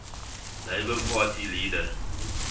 labour party leader